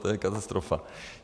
To je katastrofa.